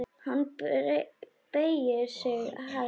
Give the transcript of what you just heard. Hann beygir sig hægt niður.